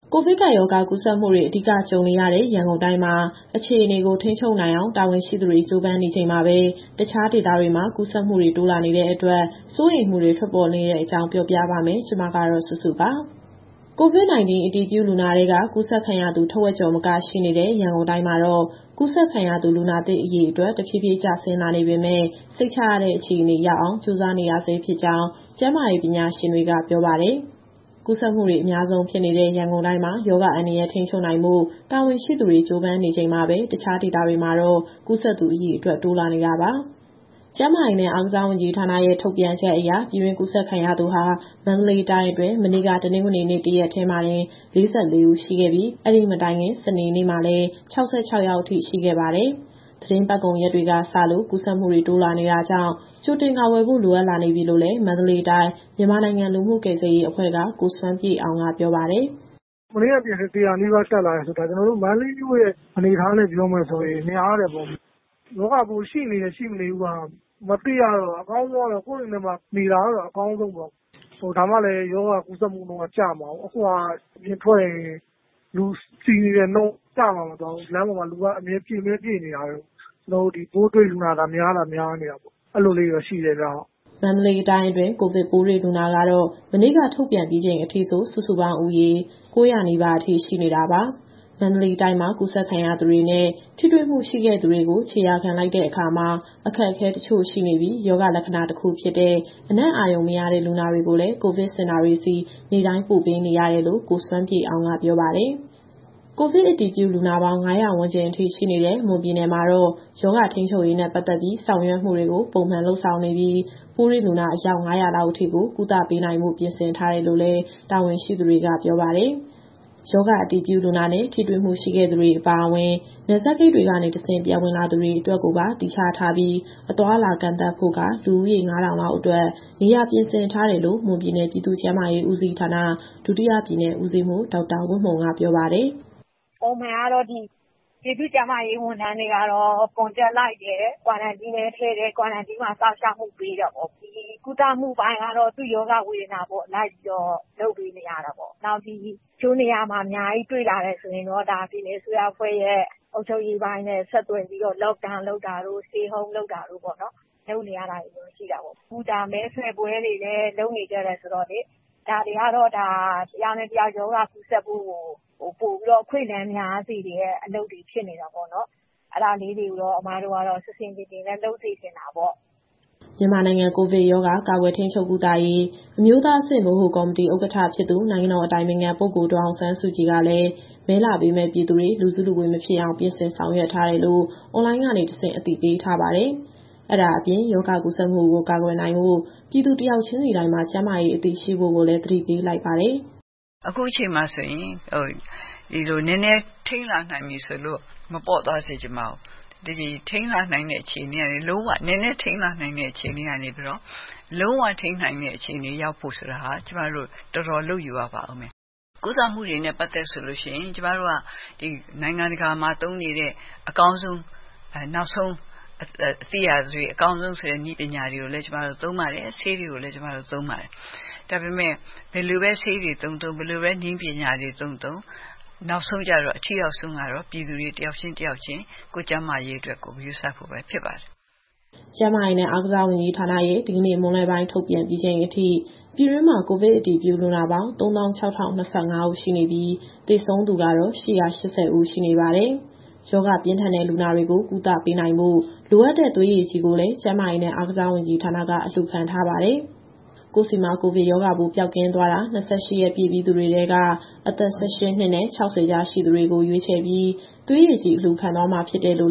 ကိုဗစ်ကပ်ရောဂါ ကူးစက်မှုတွေ အဓိကကြုံနေရတဲ့ ရန်ကုန်တိုင်းမှာ အခြေအနေကို ထိန်းချုပ်နိုင်အောင် တာဝန်ရှိသူတွေ ကြိုးပမ်းနေချိန်မှာပဲ တခြားဒေသတွေမှာ ကူးစက်မှုတွေ တိုးလာနေတဲ့အတွက် စိုးရိမ်မှုတွေ ထွက်ပေါ်လာနေတဲ့အကြောင်း ပြောပြပါမယ်။ ဒီသတင်းကို ဗွီအိုအေမြန်မာပိုင်း သတင်းထောက် မစုစုက တင်ဆက်ပေးမှာပါ။ COVID - 19 အတည်ပြုလူနာတွေထဲက ကူးစက်ခံရသူ ထက်ဝက်ကျော်မက ရှိနေတဲ့ ရန်ကုန်တိုင်းမှာတော့ ကူးစက်ခံရသူ လူနာသစ် အရေအတွက် တဖြည်းဖြည်းချင်း ကျဆင်းလာနေပေမဲ့ စိတ်ချရတဲ့ အခြေအနေရောက်အောင် ကြိုးစားနေရဆဲဖြစ်ကြောင်း ကျန်းမာရေး ပညာရှင်တွေက ပြောပါတယ်။ ကူးစက်မှုတွေ အများဆုံးဖြစ်နေတဲ့ ရန်ကုန်တိုင်းမှာ ရောဂါအန္တရာယ် ထိန်းချုပ်ဖို့ တာဝန်ရှိသူတွေ ကြိုးစားနေရချိန်မှာပဲ တခြားနယ်မြို့တွေမှာ ကူးစက်သူအရေအတွက်လည်း တိုးလာနေတာပါ။ ကျန်းမာရေးနဲ့ အားကစားဝန်ကြီးဌာနရဲ့ထုတ်ပြန်ချက်အရ ပြည်တွင်းကူးစက်ခံရသူဟာ မန္တလေးတိုင်းအတွင်း မနေ့က တနင်္ဂနွေနေ့ တရက်တည်းမှာတင် ၄၄ ဦး ရှိခဲ့ပြီး၊ ဒီမတိုင်ခင် စနေနေ့မှာလည်း ၆၆ ယောက်ထိ ရှိခဲ့ပါတယ်။ သီတင်းပတ်ကုန်ရက်တွေက စလို့ ကူးစက်မှုတွေ တိုးလာနေတာကြောင့် ကြိုတင်ကာကွယ်ဖို့ လိုအပ်လာနေပြီလို့လည်း မန္တလေးတိုင်း၊ မြန်မာနိုင်ငံလူမှုကယ်ဆယ်ရေးအဖွဲ့က ကိုစွမ်းပြည့်အောင်က ပြောပါတယ်။ “မနေ့ကတရက်တည်း ၁၀၀ နီးပါးတက်လာတယ်ဆိုတာ ဒါကျနော်တို့ မန္တလေးမြို့ရဲ့ အနေအထားနဲ့ပြောမယ်ဆိုရင် များတယ်ပေါ့။ ရောဂါပိုးရှိနေတယ်၊ ရှိမနေဘူးက မသိရတော့ အကောင်းဆုံးကတော့ ကိုယ့်အိမ်ထဲမှာနေတာကတော့ အကောင်းဆုံပေါ့။ ဒါမှလည်း ရောဂါကူးစက်မှုနှုန်းက ကျမှာပေါ့။ အခုဟာက အပြင်ထွက်ရင် လူစည်နေတဲ့နှုန်းကျမသွားဘူး။ လမ်းပေါ်မှာ လူကအမြဲပြည့်မြဲ ပြည့်နေတာပဲ။ ပိုးတွေ့လူနာသာ များနေတာ အဲလိုလေးတွေတော့ ရှိတယ်ဗျ။” မန္တလေးတိုင်းအတွင်း ကိုဗစ်ပိုးတွေ့လူနာကတော့ မနေ့က ထုတ်ပြန်ပြီးချိန် အထိဆို စုစုပေါင်းဦးရေ ၉၀၀ နီးပါးထိ ရှိနေတာပါ။ မန္တလေးတိုင်းမှာ ကူးစက်ခံရသူတွေနဲ့ ထိတွေ့မှုရှိခဲ့သူတွေကို ခြေရာခံလိုက်ရတဲ့အခါမှာ အခက်အခဲ တချို့ရှိနေပြီး၊ ရောဂါလက္ခဏာ တခုဖြစ်တဲ့ အနံ့အာရုံမရတဲ့ လူနာတွေကိုလည်း ကိုဗစ်စင်တာတွေဆီ နေ့တိုင်းပို့ပေးနေရတယ်လို့ ကိုစွမ်းပြည့်အောင်က ပြောပါတယ်။ ကိုဗစ်အတည်ပြုလူနာပေါင်း ၅၀၀ ဝန်းကျင်ရှိနေတဲ့ မွန်ပြည်နယ်မှာတော့ ရောဂါထိန်းချုပ်ရေးနဲ့ ပတ်သက်ပြီး ဆောင်ရွက်မှုတွေကို ပုံမှန်လုပ်ဆောင်နေပြီး၊ ပိုးတွေ့လူနာ အယောက် ၅၀၀ လောက်အထိကို ကုသပေးနိုင်ဖို့ ပြင်ဆင်ထားတယ်လို့လည်း တာဝန်ရှိသူတွေက ပြောပါတယ်။ ရောဂါအတည်ပြု လူနာနဲ့ ထိတွေ့မှုရှိခဲ့သူတွေ အပါအဝင်၊ နယ်စပ်ဂိတ်တွေကနေတဆင့် ပြန်ဝင်လာသူတွေအတွက်ကိုပါ သီးခြားထားပြီး အသွားအလာကန့်သတ်ဖို့က လူဦးရေ ၅,၀၀၀ လောက်အတွက် နေရာပြင်ဆင်ထားတယ်လို့ မွန်ပြည်နယ်၊ ပြည်သူ့ကျန်းမာရေးဦးစီးဌာန၊ ဒုတိယပြည်နယ်ဦးစီးမှူး ဒေါက်တာဝတ်မှုံက ပြောပါတယ်။ “ပုံမှန်ကတော့ ပြည်သူ့ကျန်းမာရေးဝန်ထမ်းတွေကတော့ Contact လိုက်တယ်၊ Quarantine မှာ စောင့်ရှောက်မှု ပေးတာပေါ့။ ဒီကုသမှုပိုင်းကတော့ ရောဂါဝေဒနာပေါ်လိုက်ပြီးတော့ လုပ်ပေးနေတယ်။ တချို့နေရာမှာ (ပိုးကူးစက်သူ) အများကြီးတွေ့လာရတယ် ဆိုရင်တော့ ပြည်နယ်အစိုးရအဖွဲ့ရဲ့အုပ်ချုပ်ရေးပိုင်းနဲ့ ဆက်သွယ်ပြီးတော့ Lockdown လုပ်တာတို့၊ Stay Home လုပ်နေရတာတွေတော့ ရှိတယ်။ အခုမဲဆွယ်ပွဲတွေလည်း လုပ်နေကြတယ်ဆိုတော့လေ ဒါတွေကတော့ တယောက်နဲ့တယောက် ရောဂါကူးစက်ဖို့ကို ပိုပြီးတော့ အခွင့်အလမ်းများစေတဲ့ အလုပ်တွေဖြစ်နေတာပေါ့နော်။ အဲဒါလေးတွေကိုတော့ အစ်မတို့ကတော့ ဆင်ဆင်ခြင်ခြင်နဲ့ လုပ်စေချင်တာပေါ့။” မြန်မာနိုင်ငံ ကိုဗစ်ရောဂါ ကာကွယ်၊ ထိန်းချုပ်၊ ကုသရေး အမျိုးသားအဆင့် ဗဟိုကော်မတီ ဥက္ကဋ္ဌဖြစ်သူ နိုင်ငံတော်အတိုင်ပင်ခံပုဂ္ဂိုလ် ဒေါ်အောင်ဆန်းစုကြည်ကလည်း မဲလာပေးမယ့်ပြည်သူတွေ လူစုလူဝေးမဖြစ်အောင် ပြင်ဆင်ဆောင်ရွက်ထားတယ်လို့ အွန်လိုင်းကနေတဆင့် အသိပေးထားပါတယ်။ အဲဒါအပြင် ရောဂါကူးစက်မှုကို ကာကွယ်နိုင်ဖို့ ပြည်သူတယောက်ချင်းစီတိုင်းမှာ ကျန်းမာရေးအသိရှိဖို့ကိုလည်း သတိပေးလိုက်ပါတယ်။ “အခုအချိန်မှာဆိုရင် ဒီလိုနည်းနည်း ထိန်းလာနိုင်ပြီဆိုလို့ မပေါ့သွားစေချင်ပါဘူး။ ဒီနည်းနည်းထိန်းလာနိုင်တဲ့ အခြေအနေကနေပြီးတော့လုံးဝထိန်းနိုင်တဲ့အခြေအနေ ရောက်ဖို့ဆိုတာဟာ ကျမတို့တော်တော်လုပ်ယူရပါဦးမယ်။ ကုသမှုတွေနဲ့ ပတ်သက်လို့ ကျမတို့က နိုင်ငံတကာမှာသုံးနေတဲ့ အကောင်းဆုံးဆိုတဲ့ နည်းပညာတွေကိုလည်း သုံးပါတယ်၊ ဆေးတွေကိုလည်း သုံးပါတယ်။ ဒါပေမဲ့ ဘယ်လိုပဲဆေးတွေ သုံးသုံး၊ နည်းပညာတွေသုံးသုံး နောက်ဆုံးကျတော့ အထိရောက်ဆုံးကတော့ ပြည်သူတွေတယောက်ချင်း၊ တယောက်ချင်း ကိုယ့်ကျန်းမာရေးအတွက် ကိုယ်ဂရုစိုက်ဖို့ပဲ ဖြစ်ပါတယ်။” ကျန်းမာရေးနဲ့ အားကစားဝန်ကြီးဌာနရဲ့ဒီကနေ့မွန်းလွဲပိုင်း ထုတ်ပြန်ပြီးချိန်အထိ ပြည်တွင်းမှာကိုဗစ်အတည်ပြု လူနာပေါင်း ၃၆,၀၂၅ ဦး ရှိနေပြီး၊ သေဆုံးသူကတော့ ၈၈၀ ဦး ရှိနေပါတယ်။ ရောဂါပြင်းထန်တဲ့ လူနာတွေကိုကုသပေးနိုင်ဖို့ လိုအပ်တဲ့သွေးရည်ကြည်ကိုလည်း ကျန်းမာရေးနဲ့အားကစားဝန်ကြီးဌာနက အလှူခံထားပါတယ်။ ကိုယ့်ဆီမှာ ကိုဗစ်ရောဂါပိုး ပျောက်ကင်းသွားတာ ၂၈ ရက်ပြည့်ပြီးသူတွေထဲက အသက် ၁၈ နှစ်နဲ့ ၆၀ ကြားရှိသူတွေကို ရွေးချယ်ပြီး သွေးရည်ကြည်အလှူခံသွားမှာ ဖြစ်တယ်လို့